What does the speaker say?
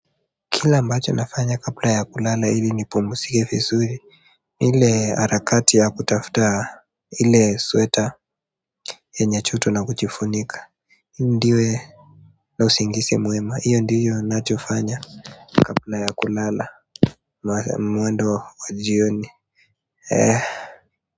Kila ambacho nafanya kabla ya kulala ili nipumzike vizuri ni ile harakati ya kutafuta ile sweta yenye joto na kujifunika ndio iwe na usingizi mwema hiyo ndiyo ninachofanya kabla ya kulala mwendo wa jioni.